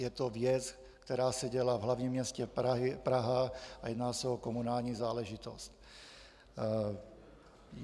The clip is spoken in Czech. Je to věc, která se děla v hlavním městě Praha a jedná se o komunální záležitost.